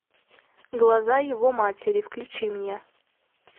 глаза его матери включи мне